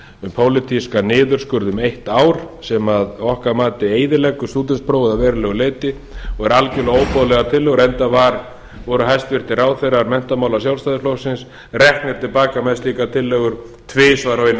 um pólitískan niðurskurð um eitt ár sem að okkar mati eyðileggur stúdentsprófið að verulegu leyti og eru algerlega óboðlegar tillögur enda voru hæstvirtir ráðherrar menntamála sjálfstæðisflokksins reknir til baka með slíkar tillögur tvisvar á einu